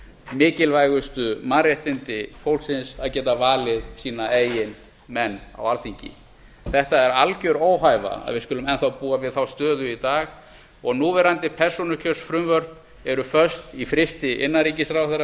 mikilvægustu mannréttindi fólksins að geta valið sína eigin menn á alþingi það er algjör óhæfa að við skulum enn þá búa við þá stöðu í dag núverandi persónukjörsfrumvörp eru föst í frysti innanríkisráðherra